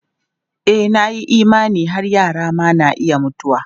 E, na yi imani har yara ma na iya mutuwa.